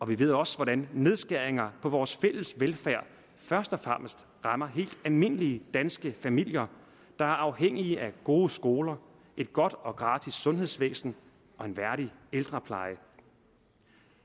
vi ved også hvordan nedskæringer vores fælles velfærd først og fremmest rammer helt almindelige danske familier der er afhængige af gode skoler et godt og gratis sundhedsvæsen og en værdig ældrepleje